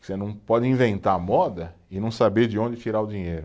Você não pode inventar moda e não saber de onde tirar o dinheiro.